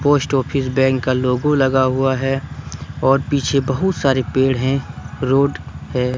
Post office bank का logo लगा हुआ है और पीछे बहुत सारे पेड़ है रोड है।